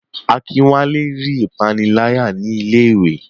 Akinwale rí ìpániláyà ní ilé iwé.